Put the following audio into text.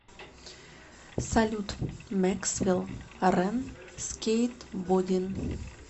салют мэксвел рэн скейтбодин